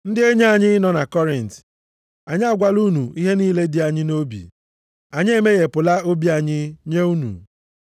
Ndị enyi anyị nọ na Kọrint, anyị agwala unu ihe niile dị anyị nʼobi, anyị emeghepụla obi anyị nye unu.